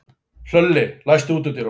Hlölli, læstu útidyrunum.